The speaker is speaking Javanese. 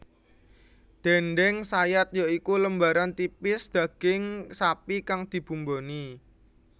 Déndéng sayat ya iku lembaran tipis daging sapi kang dibumboni